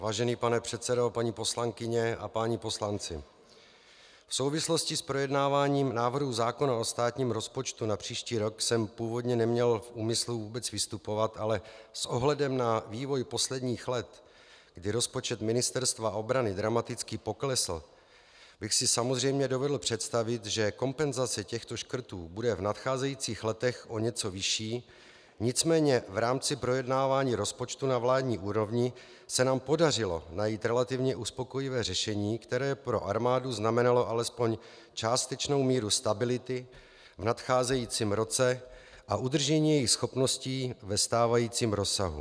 Vážený pane předsedo, paní poslankyně a páni poslanci, v souvislosti s projednáváním návrhu zákona o státním rozpočtu na příští rok jsem původně neměl v úmyslu vůbec vystupovat, ale s ohledem na vývoj posledních let, kdy rozpočet Ministerstva obrany dramaticky poklesl, bych si samozřejmě dovedl představit, že kompenzace těchto škrtů bude v nadcházejících letech o něco vyšší, nicméně v rámci projednávání rozpočtu na vládní úrovni se nám podařilo najít relativně uspokojivé řešení, které pro armádu znamenalo alespoň částečnou míru stability v nadcházejícím roce a udržení jejích schopností ve stávajícím rozsahu.